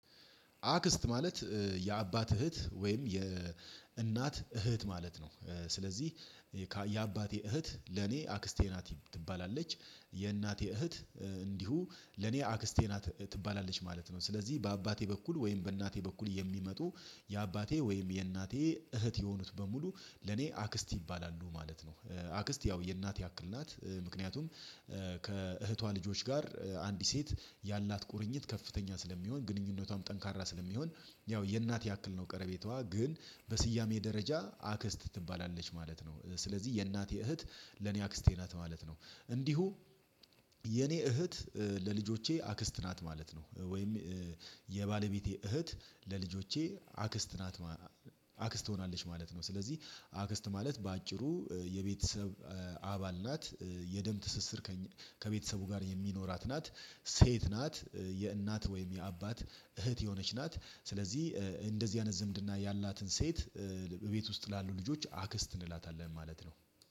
አክስት ማለት የአባት እህት ወይም የእናት እህት ማለት ነው። ስለዚህ የአባቴ እህት ለኔ አክስቴ ናት ትባላለች የእናቴ እህት እንዲሁ ለኔ አክስቴ ናት ትባላለች ማለት ነው። ስለዚህ በአባቴ በኩል ወይም በእናቴ በኩል የሚመጡ የአባቴ ወይም የእናቴ እህት የሆኑት በሙሉ ለኔ አክስት ይባላሉ ማለት ነው። አክስት ያው የእናት ያክል ናት ምክንያቱም ከእህቷ ልጆች ጋር አንዲት ሴት ያላት ቁርኝት ከፍተኛ ስለሚሆን ግንኙነቷም ጠንካራ ስለሚሆን ያው የእናት ያክል ነው ቀረቤታዋ ግን በስያሜ ደረጃ አክስት ትባላለች ማለት ነው። ስለዚህ የእናት እህት ለኔ አክስቴ ናት ማለት ነው። እንዲሁ የኔ እህት ለልጆቼ አክስት ናት ማለት ነው ወይም የባለቤቴ እህት ለልጆቼ አክስት ናት ማለ አክስት ትሆናለች ማለት ነው። ስለዚህ አክስት ማለት በአጭሩ የቤተሰብ አባል ናት የደም ትስስር ከቤተሰቡ ጋር የሚኖራት ናት ሴት ናት የእናት ወይም የአባት እህት የሆነች ናት። ስለዚህ እንደዚህ አይነት ዝምድና ያላትን ሴት ቤት ውስጥ ላሉ ልጆች አክስት እንላታለን ማለት ነው።